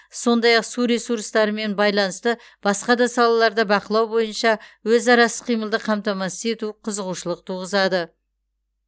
сондай ақ су ресурстарымен байланысты басқа да салаларды бақылау бойынша өзара іс қимылды қамтамасыз ету қызығушылық туғызады